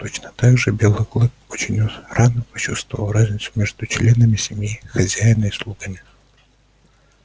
точно так же белый клык очень рано почувствовал разницу между членами семьи хозяина и слугами